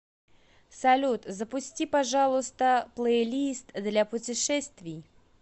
салют запусти пожалуйста плейлист для путешествий